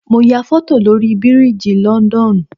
Mo ya foto lórí biriji London